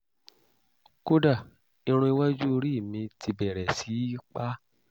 kódà irun iwájú orí mi ti bẹ̀rẹ̀ sí í pá